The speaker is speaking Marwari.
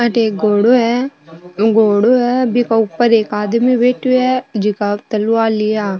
अठ एक घोड़ों है घोड़ों है बिक ऊपर एक आदमी बैठा है जीका तलवार लिया।